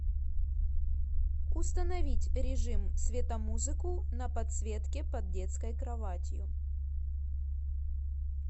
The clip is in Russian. установить режим светомузыку на подсветке под детской кроватью